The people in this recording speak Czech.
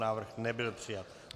Návrh nebyl přijat.